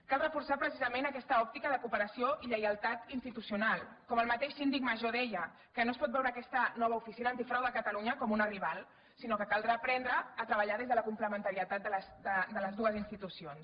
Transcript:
cal reforçar precisament aquesta òptica de cooperació i lleialtat institucional com el mateix síndic major deia que no es pot veure aquesta nova oficina antifrau de catalunya com una rival sinó que caldrà aprendre a treballar des de la complementarietat de les dues institucions